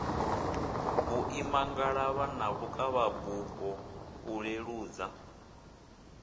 vhuimangalavha na vhukavhabufho u leludza